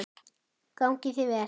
Gangi þér vel.